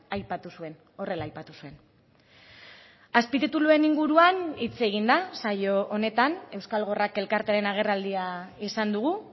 aipatu zuen horrela aipatu zuen azpitituluen inguruan hitz egin da saio honetan euskal gorrak elkartearen agerraldia izan dugu